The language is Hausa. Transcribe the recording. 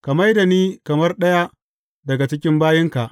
Ka mai da ni kamar ɗaya daga cikin bayinka.